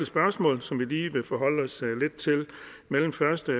spørgsmål som vi lige vil forholde os lidt til mellem første